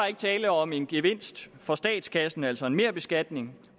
ikke tale om en gevinst for statskassen altså en merbeskatning